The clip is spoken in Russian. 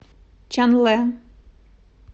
чанлэ